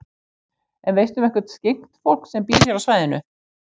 En veistu um eitthvert skyggnt fólk sem býr hér á svæðinu?